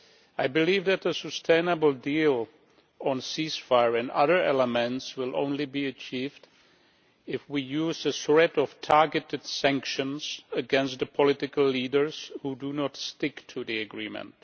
I believe that a sustainable deal on ceasefire and other elements will only be achieved if we use the threat of targeted sanctions against the political leaders who do not stick to the agreement.